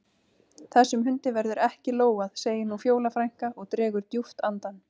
Þessum hundi verður ekki lógað, segir nú Fjóla frænka og dregur djúpt andann.